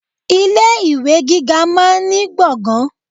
Ilé ìwé gíga máa ní gbọ̀ngàn.